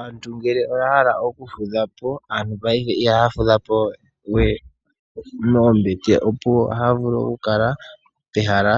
Aantu ngele oya hala okufudhapo, aantu paife ihaya fudhapo we moombete opuwo, ohaya vulu oku kala pehala